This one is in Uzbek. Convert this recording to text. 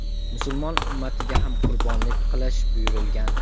musulmon ummatiga ham qurbonlik qilish buyurilgan.